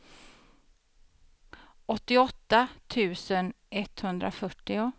åttioåtta tusen etthundrafyrtio